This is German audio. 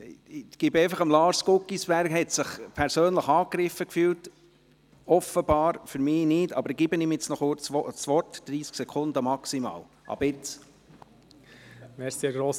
Ich gebe einfach Lars Guggisberg, der sich – offenbar – persönlich angegriffen gefühlt hat – meines Erachtens wurde er nicht angegriffen–, kurz das Wort, für maximal 30 Sekunden ab jetzt.